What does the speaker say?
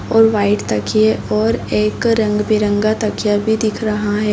और वाइट तकिये और एक रंग-बिरंगा तकिया भी दिख रहा है।